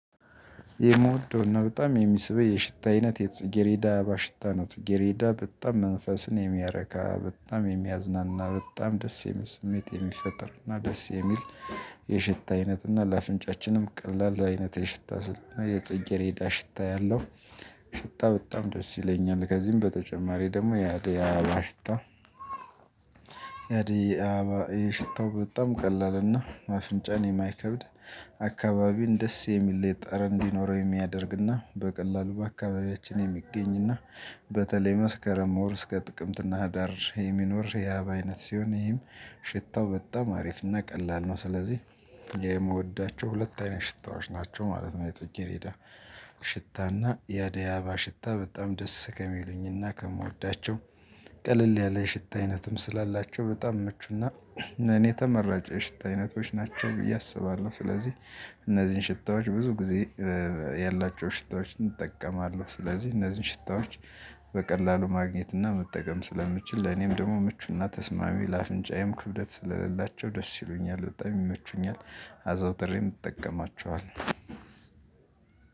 የምወደው ነው በጣም የሚስበኝ የሽታ አይነት የጽጌሬዳ አባሽታ ነው ጽጌሬዳ በጣም መንፈስን የሚያረካ፣ በጣም የሚያዝናና፣ በጣም ደስ የሚል ስሜት የሚፈጥርና ደስ የሚል የሽታ አይነትና ለአፍንጫችንም ቀላል አይነት የሽታ ስል እና የጽይት ሬዳ ሽታ ያለው ሽታ በጣም ደስ ይለኛል። ከዚህም በተጨማሪ ደግሞ ያዴይ አባ ሽታ ያዴ አባ ይሄ ሽታው ቀላል እና አፍንጫን የማይከብድ አካባቢን ደስ የሚለይት ጠረ እንዲኖረው የሚያደርግና፣ በቀላሉ በአካባቢያችን የሚገኝና በተለይ መስከረም ወር እስከ ጥቅምትና ህዳር የሚኖር የህአብ አይነት ሲሆን፣ ይህም ሽታው በጣም አሪፍና ቀላል ነው። ስለዚህ የምወዳቸው ሁለት አይነት ሽታዎች ናቸው ማለት ነው። የፅጌሬዳ ሽታና የደያባ ሽታ በጣም ደስ ከሚሉኝና ከምወዳቸው ቀለል ያለ ሽታ አይነትም ስላላቸው፣ በጣም ምቹና እኔ የተመራጨ ሽታ አይነቶች ናቸው ብዬ አስባለሁ፣ ስለዚህ እነዚህን ሽታዎች ብዙ ጊዜ ያላቸው ሽታዎችን እጠቀማለሁ፣ ስለዚህ እነዚህን ሽታዎች በቀላሉ ማግኘት እና መጠቀም ስለምችል ለኔም ደግሞ ምቹና ተስማሚ ለአፍንጫዬም ክብደት ስለሌላቸው ደስ ይሉኛል። በጣም ይመቹኛል አዛውትሬም ይጠቀማቸዋል።